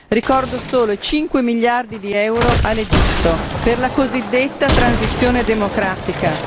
Ricordo solo i 5 miliardi di euro all'Egitto per la cosiddetta transizione democratica.